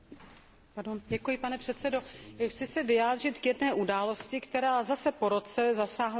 Pane předsedající, chci se vyjádřit k jedné události, která zase po roce zasáhla náš kontinent.